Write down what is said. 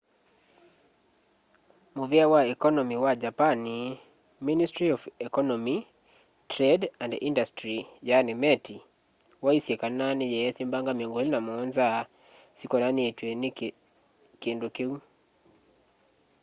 muvea wa ekonomi wa japani ministry of economy trade and industry meti waisye kana niyeesi mbanga 27 syikonanitw'e na kindu kiu